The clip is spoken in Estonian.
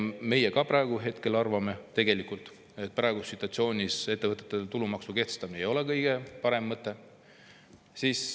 Meie ka praegu arvame, et tegelikult praeguses situatsioonis ettevõtete tulumaksu kehtestamine ei ole kõige parem mõte.